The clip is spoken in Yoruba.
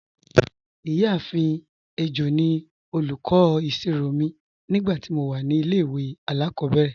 Iyaafin Ejo ni olúkọ̀ isírò mi nígbàtí mó wà ní ilẹ̀-ìwé aláàkòbẹ̀rẹ̀